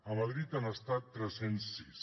a madrid han estat tres cents i sis